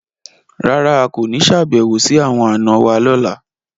Rárà, a ko ni ṣabẹwo si awọn ana wa lọla